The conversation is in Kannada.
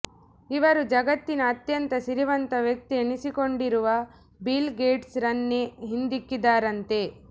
ಇವರು ಜಗತ್ತಿನ ಅತ್ಯಂತ ಸಿರಿವಂತ ವ್ಯಕ್ತಿ ಎನಿಸಿಕೊಂಡಿರುವ ಬಿಲ್ ಗೇಟ್ಸ್ ರನ್ನೇ ಹಿಂದಿಕ್ಕಿದ್ದಾರಂತೆ